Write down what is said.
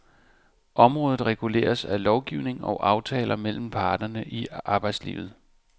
Området reguleres af lovgivning og aftaler mellem parterne i arbejdslivet.